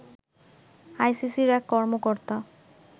আইসিসির এক কর্মকর্তা